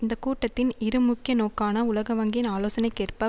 இந்த கூட்டத்தின் இரு முக்கிய நோக்கான உலக வங்கியின் ஆலோசனைக்கேற்ற